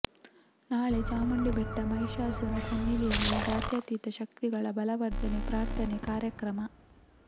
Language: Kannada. ನಾಳೆ ಚಾಮುಂಡಿಬೆಟ್ಟ ಮಹಿಷಾಸುರ ಸನ್ನಿಧಿಯಲ್ಲಿ ಜಾತ್ಯಾತೀತ ಶಕ್ತಿಗಳ ಬಲವರ್ಧನೆ ಪ್ರಾರ್ಥನಾ ಕಾರ್ಯಕ್ರಮ